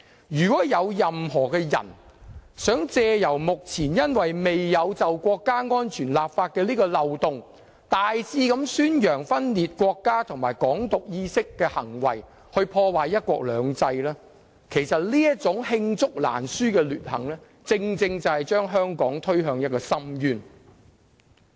如果任何人想藉目前未就國家安全立法的漏洞大肆宣揚分裂國家和"港獨"意識的行為，破壞"一國兩制"，其實這種罄竹難書的劣行正正會將香港推向深淵。